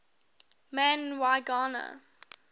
man y gana